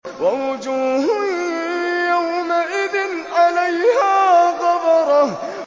وَوُجُوهٌ يَوْمَئِذٍ عَلَيْهَا غَبَرَةٌ